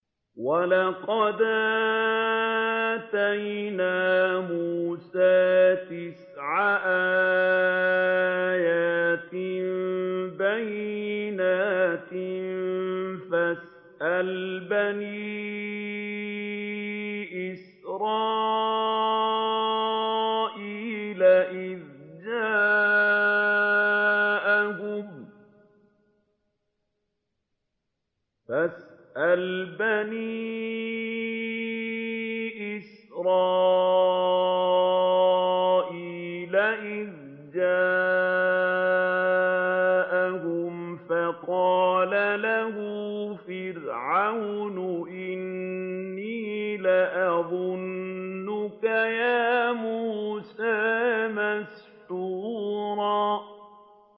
وَلَقَدْ آتَيْنَا مُوسَىٰ تِسْعَ آيَاتٍ بَيِّنَاتٍ ۖ فَاسْأَلْ بَنِي إِسْرَائِيلَ إِذْ جَاءَهُمْ فَقَالَ لَهُ فِرْعَوْنُ إِنِّي لَأَظُنُّكَ يَا مُوسَىٰ مَسْحُورًا